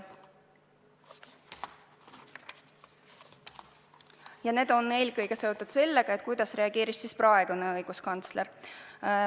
Ja need on eelkõige seotud sellega, kuidas reageeris praegune õiguskantsler.